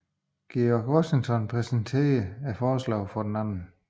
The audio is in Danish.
George Washington præsenterede forslaget for den 2